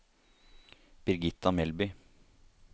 Birgitta Melbye